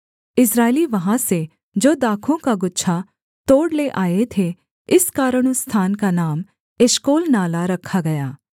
इस्राएली वहाँ से जो दाखों का गुच्छा तोड़ ले आए थे इस कारण उस स्थान का नाम एशकोल नाला रखा गया